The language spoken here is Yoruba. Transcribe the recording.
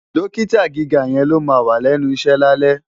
Dọ́kítà gíga yẹn ni ó máà wà lẹ́nu iṣẹ́ lálẹ́.